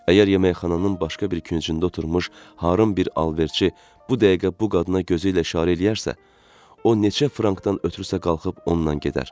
Əgər yeməkxananın başqa bir küncündə oturmuş harın bir alverçi bu dəqiqə bu qadına gözü ilə işarə eləyərsə, o neçə frankdan ötrüsə qalxıb ondan gedər.